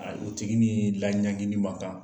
O tigi ni man kan